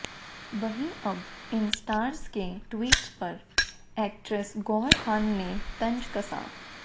वहीं अब इन स्टार्स के ट्वीट्स पर एक्ट्रेस गौहर खान ने तंज कसा